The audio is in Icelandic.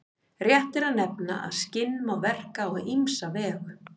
Rétt er að nefna að skinn má verka á ýmsa vegu.